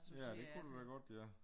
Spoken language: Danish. Ja det kunne det da godt ja